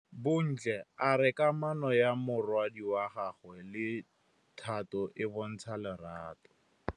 Bontle a re kamanô ya morwadi wa gagwe le Thato e bontsha lerato.